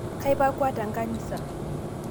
Kaipukwua tenkanisa